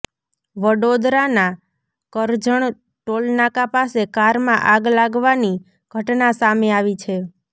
વડોદરાના કરજણ ટોલનાકા પાસે કારમાં આગ લાગવાની ઘટના સામે આવી છે